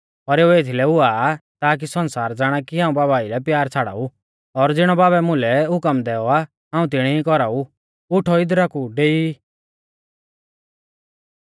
पर एऊ एथीलै हुआ आ ताकी सण्सार ज़ाणा कि हाऊं बाबा आइलै प्यार छ़ाड़ाऊ और ज़िणौ बाबै मुलै हुकम दैऔ आ हाऊं तिणी ई कौराऊ उठौ इदरा कु डेई ई